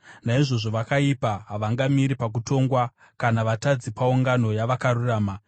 Naizvozvo vakaipa havangamiri pakutongwa, kana vatadzi paungano yavakarurama.